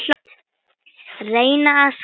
Reyna að skara fram úr.